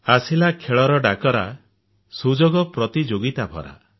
ଆସିଲା ଖେଳର ଡାକରା ସୁଯୋଗ ପ୍ରତିଯୋଗୀତା ଭରା